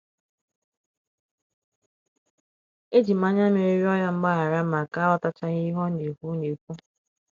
Eji m anya mmiri rịọ ya mgbaghara maka aghọtachaghị ihe ọ na - ekwu na - ekwu.